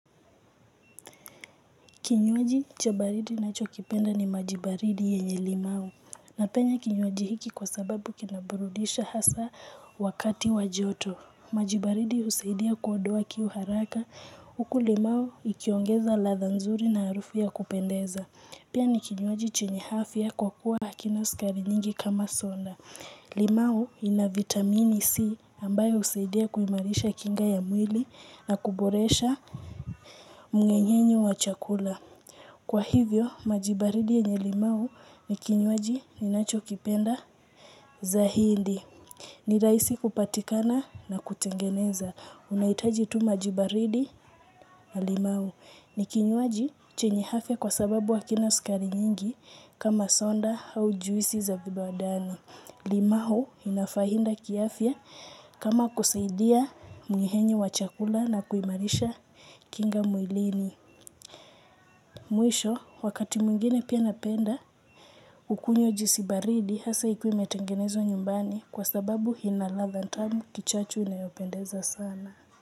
Kinywaji cha baridi ninacholipenda ni maji baridi yenye limau napenda kinywaji hiki kwa sababu kinaburudisha hasa wakati wa joto. Maji baridi husaidia kuondoa kiu haraka huku limau ikiongeza latha nzuri na harufu ya kupendeza. Pia ni kinywaji chenye afya kwa kuwa hakina sukari nyingi kama soda. Limau ina vitamini C ambayo husaidia kuimarisha kinga ya mwili na kuboresha mungenyenye wa chakula. Kwa hivyo, maji baridi yenye limau ni kinywaji ninacho kipenda zaidi. Ni rahisi kupatikana na kutengeneza. Unahitaji tu maji baridi na limau ni kinywaji chenye afya kwa sababu hakina sukari nyingi kama soda au juisi za vibandani. Limau ina faida kiafya kama kusaidia mnyehenye wa chakula na kuimarisha kinga mwilini. Mwisho, wakati mwingine pia napenda kukunywa juisi baridi hasa ikiwa imetengenezwa nyumbani kwa sababu ina ladha tamu kichachu inayopendeza sana.